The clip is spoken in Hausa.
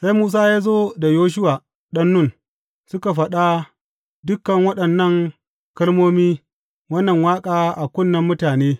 Sai Musa ya zo da Yoshuwa ɗan Nun suka faɗa dukan waɗannan kalmomi wannan waƙa a kunnen mutane.